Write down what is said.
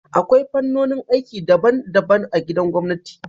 Akwai fannonin aiki daban-daban a gwamnati.